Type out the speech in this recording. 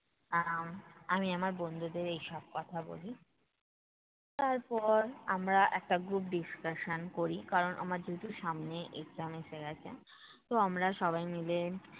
আহ আমি আমার বন্ধুদের এইসব কথা বলি। তারপর আমরা একটা group discussion করি কারণ আমার যেহেতু সামনে exam এসে গেছে। তো আমরা সবাই মিলে